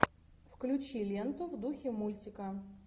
включи ленту в духе мультика